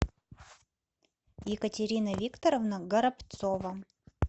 екатерина викторовна горобцова